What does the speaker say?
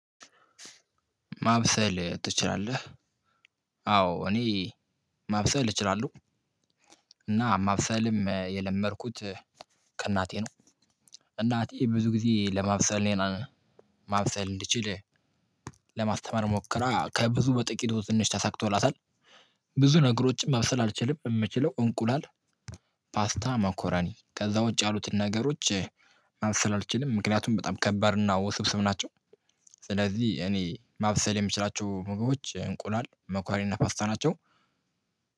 ማብሰል ትችላለህ? አዎ እኔ ማብሰል እችላለሁ እና ማብሰልም የለመድኩት ከእናቴ ነው። እናቴ ብዙ ጊዜ ለማብሰል እኔን ማብሰል እንድችል ለማስተማር ሞክራ ከብዙ በጥቂት ትንሽ ተሳክቶላታል። ብዙ ነገሮችን ማብሰል አልችልም የምችለው እንቁላል። ፓስታ ማኮራኒ ከዛ ውጪ ያሉትን ነገሮች ማብሰል አልችልም። ምክንያቱም በጣም ከባድ እና ውስብስብ ናቸው። ስለዚህ እኔ ማብሰል የምችላቸው ምግቦች እንቁላል መኮሪና ፓስታ ናቸው።